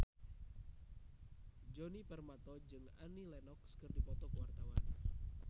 Djoni Permato jeung Annie Lenox keur dipoto ku wartawan